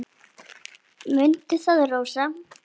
Mundu það, Rósa.